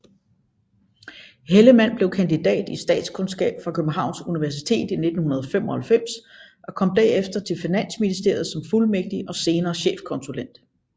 Hellemann blev kandidat i statskundskab fra Københavns Universitet i 1995 og kom derefter til Finansministeriet som fuldmægtig og senere chefkonsulent